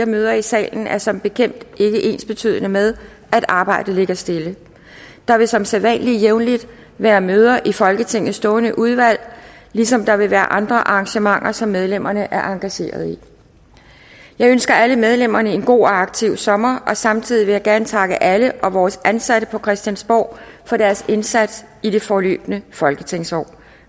møder i salen er som bekendt ikke ensbetydende med at arbejdet ligger stille der vil som sædvanlig jævnligt være møder i folketingets stående udvalg ligesom der vil være andre arrangementer som medlemmerne er engagerede i jeg ønsker alle medlemmerne en god og aktiv sommer og samtidig vil jeg gerne takke alle og vores ansatte på christiansborg for deres indsats i det forløbne folketingsår